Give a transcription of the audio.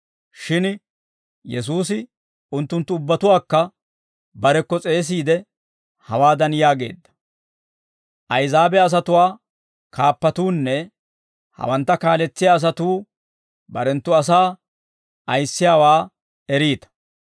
Shin Yesuusi unttunttu ubbatuwaakka barekko s'eesiide, hawaadan yaageedda; «Ahizaabe asatuwaa kaappatuunne hawantta kaaletsiyaa asatuu barenttu asaa ayissiyaawaa eriita.